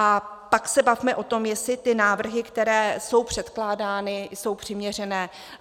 A pak se bavme o tom, jestli ty návrhy, které jsou předkládány, jsou přiměřené.